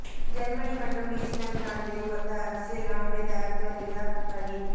Germany மற்றும் New Zealand நாடுகளை ஒத்த அரசியல் அமைப்பை தயாரித்து வருகிறார் ரணில்